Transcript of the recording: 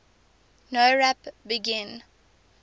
nowrap begin